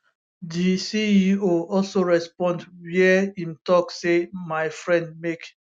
di ceo also respond wia im tok say my friend make